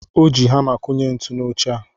O ji hamá kụnye ntu n'oche a.